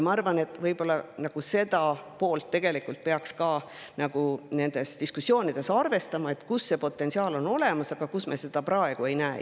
Ma arvan, et võib-olla peaks nendes diskussioonides arvestama ka seda poolt, kus potentsiaal on olemas, aga kus me seda praegu ei näe.